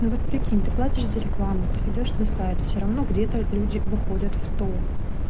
вот прикинь ты платишь за рекламу ты идёшь на сайт все равно где-то люди выходят в топ